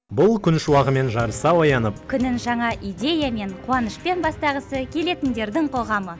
бұл күн шуағымен жарыса оянып күнін жаңа идеямен қуанышпен бастағысы келетіндердің қоғамы